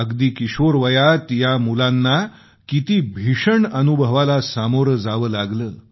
अगदी किशोरवयात या मुलांना किती भीषण अनुभवाला सामोरं जावं लागलं